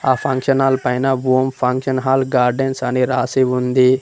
ఆ function hall పైన Om function hall gardens అని రాసి ఉంది.